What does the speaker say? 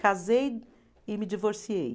Casei e me divorciei.